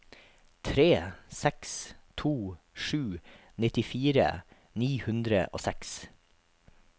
tre seks to sju nittifire ni hundre og seks